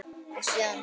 og síðan